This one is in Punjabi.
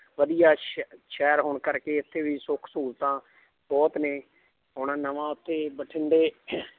ਵਧੀਆ ਸ਼~ ਸ਼ਹਿਰ ਹੋਣ ਕਰਕੇ ਇੱਥੇ ਵੀ ਸੁੱਖ ਸਹੂਲਤਾਂ ਬਹੁਤ ਨੇ ਹੁਣ ਨਵਾਂ ਉੱਥੇ ਬਠਿੰਡੇ